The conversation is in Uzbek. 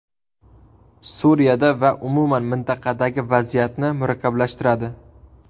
Suriyada va umuman mintaqadagi vaziyatni murakkablashtiradi.